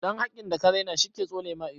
Ɗan hakkin da ka rena shi ke tsole ma ido